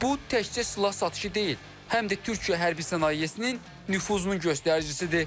Bu təkcə silah satışı deyil, həm də Türkiyə hərbi sənayesinin nüfuzunun göstəricisidir.